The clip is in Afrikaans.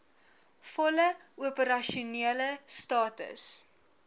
volle opersasionele status